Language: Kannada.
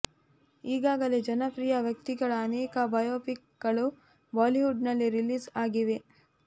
ಈಗಾಗಲೇ ಜನಪ್ರಿಯ ವ್ಯಕ್ತಿಗಳ ಅನೇಕ ಬಯೋಪಿಕ್ ಗಳು ಬಾಲಿವುಡ್ ನಲ್ಲಿ ರಿಲೀಸ್ ಆಗಿವೆ